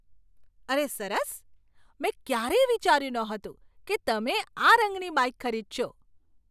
અરે, સરસ! મેં ક્યારેય વિચાર્યું નહોતું કે તમે આ રંગની બાઇક ખરીદશો.